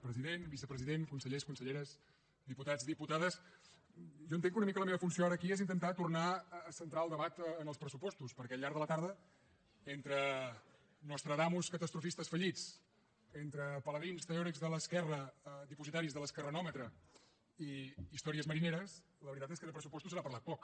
president vicepresident consellers conselleres diputats diputades jo entenc que una mica la meva funció ara aquí és intentar tornar a centrar el debat en els pressupostos perquè al llarg de la tarda entre nostradamus catastrofistes fallits entre paladins teòrics de l’esquerra dipositaris de l’ esquerranòmetre i històries marineres la veritat és que de pressupostos se n’ha parlat poc